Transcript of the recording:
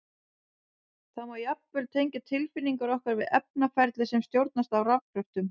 Það má jafnvel tengja tilfinningar okkar við efnaferli sem stjórnast af rafkröftum!